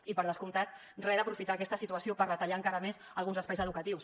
i per descomptat re d’aprofitar aquesta situació per retallar encara més alguns espais educatius